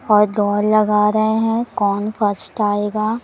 और दौड़ लगा रहे हैं कौन फर्स्ट आएगा।